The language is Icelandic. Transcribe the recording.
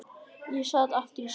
Ég sat aftast í salnum.